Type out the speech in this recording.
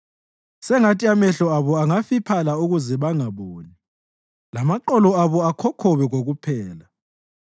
Sengathi amehlo abo angafiphala ukuze bangaboni, lamaqolo abo akhokhobe kokuphela.